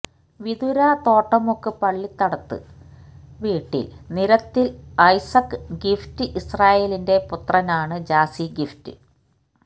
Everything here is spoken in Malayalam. വിതുര തോട്ടുമുക്ക് പള്ളിത്തടത്ത് വീട്ടില് നിരത്തില് ഐസക്ക് ഗിഫ്റ്റ് ഇസ്രായേലിന്റെ പുത്രനാണ് ജാസി ഗിഫ്റ്റ്